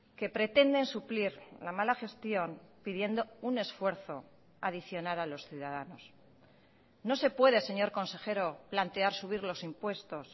que pretenden suplir la mala gestión pidiendo un esfuerzo adicional a los ciudadanos no se puede señor consejero plantear subir los impuestos